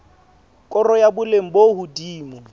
koro ya boleng bo hodimo